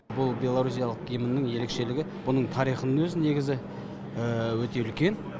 бұл беларусиялық гимнің ерекшелігі бұның тарихының өзі негізі өте үлкен